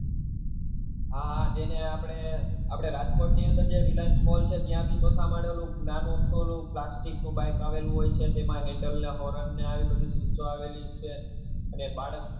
હા હા જેને આપડે આપડે રાજકોટ ની અંદર જે reliance mall ની અંદર ન્યા બી ચોથા માળે ઓલું નાનું અમથું ઓલું plastic નું bike આવેલું હોય છે તેમાં handle ને આવેલી છે અને બાળક